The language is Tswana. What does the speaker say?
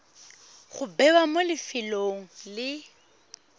go bewa mo lefelong le